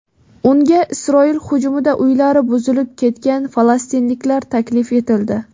Unga Isroil hujumida uylari buzilib ketgan falastinliklar taklif etildi.